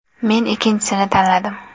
Men ikkinchisini tanladim.